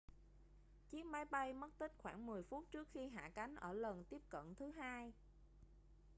chiếc máy bay mất tích khoảng 10 phút trước khi hạ cánh ở lần tiếp cận thứ hai